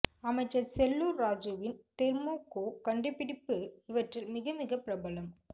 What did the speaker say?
அமைச்சர் செல்லூர் ராஜூவின் தெர்மோகோ கண்டுபிடிப்பு இவற்றில் மிக மிக பிரபலம்